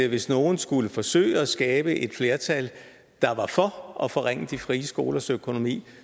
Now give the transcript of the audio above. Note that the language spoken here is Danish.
hvis nogen skulle forsøge at skabe et flertal der var for at forringe de frie skolers økonomi